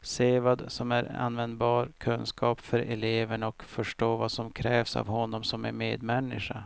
se vad som är användbar kunskap för eleverna och förstå vad som krävs av honom som medmänniska.